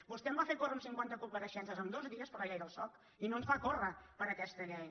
vostè em va fer córrer amb cinquanta compareixences en dos dies per la llei del soc i no ens fa córrer per aquesta llei